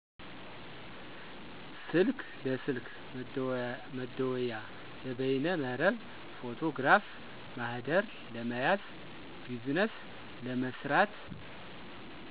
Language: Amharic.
ስልክ ለስልክ መደወያ፣ ለበይነ መረብ፣ ፎቶግራፍ፣ ማህደር ለመያዝ፣ ቢዝነስ ለመስራት